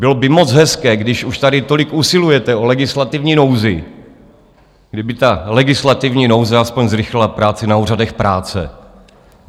Bylo by moc hezké, když už tady tolik usilujete o legislativní nouzi, kdyby ta legislativní nouze alespoň zrychlila práci na úřadech práce.